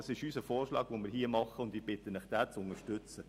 Das ist unser Vorschlag, und ich bitte Sie, diesen zu unterstützen.